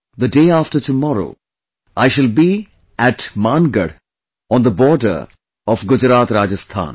the day after tomorrow, I shall be at will be at Mangarh, on the border of GujaratRajasthan